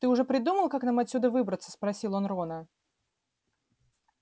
ты уже придумал как нам отсюда выбраться спросил он рона